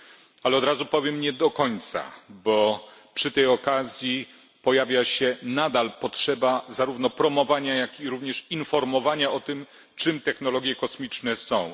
Jednak od razu powiem nie do końca, bo przy tej okazji pojawia się nadal potrzeba zarówno promowania, jak i również informowania o tym, czym technologie kosmiczne są.